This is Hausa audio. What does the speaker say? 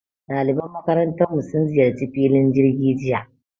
Ɗaliban makarantarmu sun ziyarci filin jirgi jiya